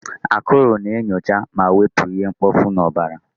Akụrụ na-enyocha ma wepụ ihe mkpofu n'ọbara.